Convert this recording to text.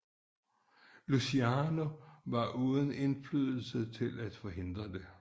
Luciano var uden indflydelse til at forhindre det